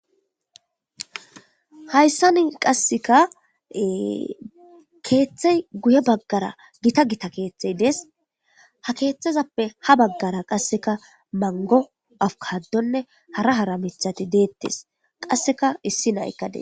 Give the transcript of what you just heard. Hayssa ni qasseka keeththey guye baggara gita gita keeththey des ha keeththazappe ha baggara qasseka mango afukaddonne hara hara mithati deettes qasseka issi naykkades.